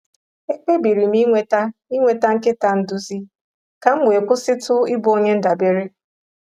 Ekpebiri m inweta inweta nkịta nduzi ka m wee kwụsịtu ịbụ onye ndabere.